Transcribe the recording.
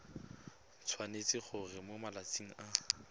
tshwanetse gore mo malatsing a